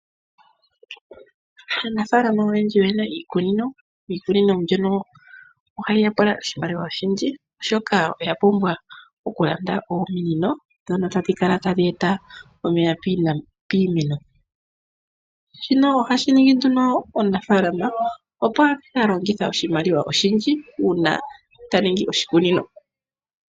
Aanafalama oyendji oyena iikunino, iikunino mbyono ohayi yapula iimaliwa oyindji oshoka oya pumbwa ominino ndhoka ta dhi eta omeya piimeno. Shino nduno ohashi ningi omunafaalama opo haakalongitha oshimaliwa oshindji uuna taningi oshikunino.